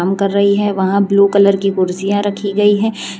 उतर रहे हैं वहां ब्लू कलर की कुर्सीया रखी गई है।